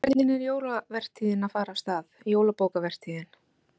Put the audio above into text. En hvernig er jólavertíðin að fara af stað, jólabókavertíðin?